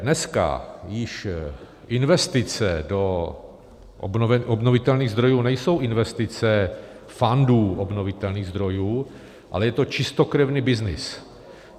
Dneska již investice do obnovitelných zdrojů nejsou investice fandů obnovitelných zdrojů, ale je to čistokrevný byznys.